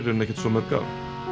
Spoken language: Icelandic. ekkert svo mörg ár